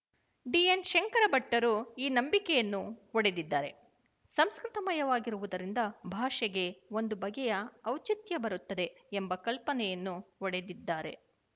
D N ಶಂಕರಭಟ್ಟರು ಈ ನಂಬಿಕೆಯನ್ನು ಒಡೆದಿದ್ದಾರೆ ಸಂಸ್ಕೃತ ಮಯವಾಗಿರುವುದರಿಂದ ಭಾಷೆಗೆ ಒಂದು ಬಗೆಯ ಔಚಿತ್ಯ ಬರುತ್ತದೆ ಎಂಬ ಕಲ್ಪನೆಯನ್ನು ಒಡೆದಿದ್ದಾರೆ